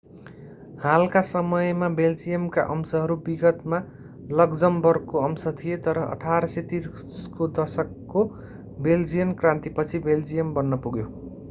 हालका समयमा बेल्जियमका अंशहरू विगतमा लक्जमबर्गको अंश थिए तर 1830 को दशकको बेल्जियन क्रान्तिपछि बेल्जियम बन्न पुग्यो